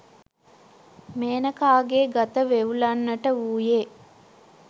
මේනකාගේ ගත වෙව්ලන්නට වූයේ